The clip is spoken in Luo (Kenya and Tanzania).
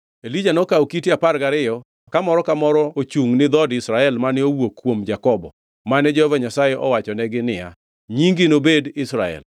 Elija nokawo kite apar gariyo, ka moro ka moro ochungʼ ni dhood Israel mane owuok kuom Jakobo, mane Jehova Nyasaye owachonegi niya, “Nyingi nobed Israel.”